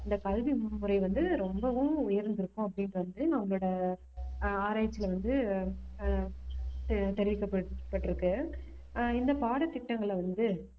இந்த கல்வி முறை வந்து ரொம்பவும் உயர்ந்திருக்கும் அப்படின்றது வந்து அவங்களோட ஆஹ் ஆராய்ச்சியில வந்து ஆஹ் தெரி~ தெரிவிக்கப்பட்டிருக்கு ஆஹ் இந்த பாடத்திட்டங்களை வந்து